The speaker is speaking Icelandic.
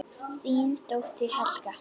Þín dóttir, Helga.